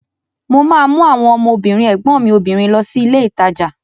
Mo ma mú àwọn ọmọ obìnrin ẹ̀gbọ́n mi obìnrin lọ sí ilé ìtajà